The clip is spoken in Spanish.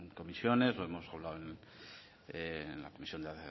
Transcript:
comisiones lo hemos hablado en la comisión de